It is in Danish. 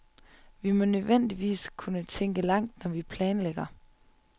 Vi må nødvendigvis kunne tænke langt, når vi planlægger.